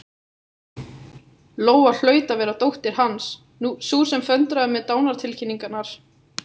Lóa hlaut að vera dóttir Hans, sú sem föndraði með dánartilkynningar.